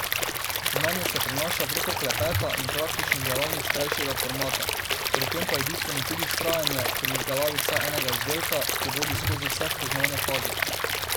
Znanje se prenaša preko klepeta in praktičnih delavnic krajšega formata, pri tem pa je bistveno tudi vztrajanje pri izdelavi vsaj enega izdelka, ki vodi skozi vse spoznavne faze.